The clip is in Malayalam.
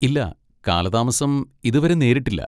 ഇല്ല, കാലതാമസം ഇതുവരെ നേരിട്ടില്ല.